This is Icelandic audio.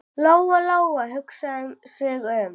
Lóa-Lóa hugsaði sig um.